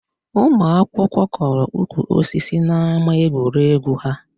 Ụmụ akwụkwọ kọrọ ukwu osisi n'ama egwuregwu ha